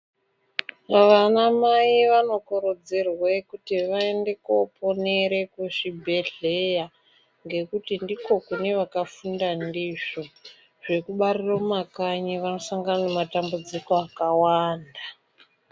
Vana mai vano kurudzirwe kuti vaende ko ponere ku zvibhedhleya ngekuti ndiko kune vaka funda ndizvo zveku barira mu makanyi vano sangana ne matambudziko akawanda.